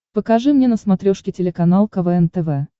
покажи мне на смотрешке телеканал квн тв